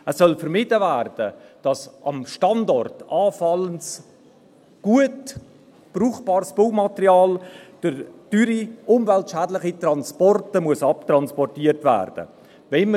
Es soll vermieden werden, dass am Standort anfallendes, gut brauchbares Baumaterial durch teure, umweltschädliche Transporte abtransportiert werden muss.